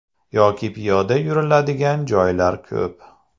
Yoki piyoda yuriladigan joylar ko‘p.